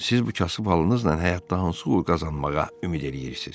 Siz bu kasıb halınızla həyatda hansı uğur qazanmağa ümid eləyirsiz?